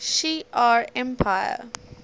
shi ar empire